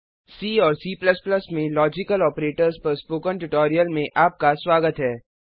सी और C में logical operators पर स्पोकन ट्यूटोरियल में आपका स्वागत है